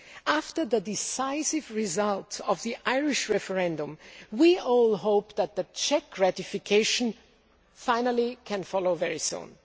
After the decisive result of the Irish referendum, we all hope that the Czech ratification can finally follow very soon.